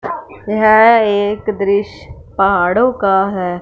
यह एक दृश पहाड़ों का है।